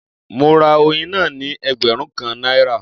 Mo ra oyin náà ní ẹgbẹ̀rún kan náírà.